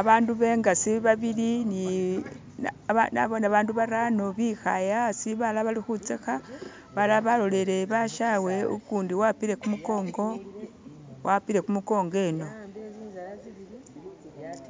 Abaandu be ngasi babili ni naboone babaandu barano bikhaaye asi balala bali khutsakha, balala balolelele basyawe ukundi wapile kumukongo, walpole kumukongo eno